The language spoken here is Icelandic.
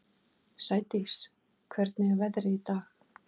Sædís, hvernig er veðrið í dag?